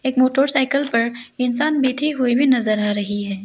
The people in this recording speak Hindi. एक मोटरसाइकिल पर इंसान बैठे हुए भी नजर आ रही है।